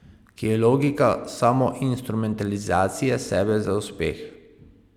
Ki je logika samoinstrumentalizacije sebe za uspeh.